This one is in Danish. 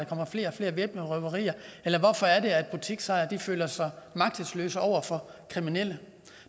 kommer flere og flere væbnede røverier eller hvorfor at butiksejere føler sig magtesløse over for kriminelle